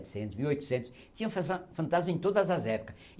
mil e oitocentos Tinham fansa fantasmas em todas as épocas.